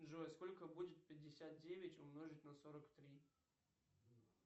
джой сколько будет пятьдесят девять умножить на сорок три